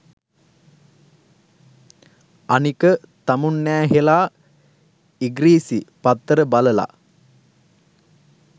අනික තමුන්නෑහේලා ඉග්‍රීසි පත්තර බලලා